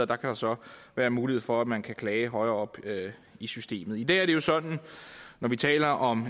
der kan så være mulighed for at man kan klage højere oppe i systemet i dag er det jo sådan at når vi taler om